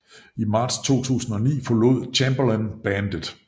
I marts 2009 forlod Chamberlin bandet